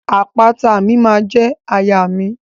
Àpáta mi ma je àyà mi.